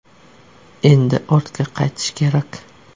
Endi ortga qaytish kerak.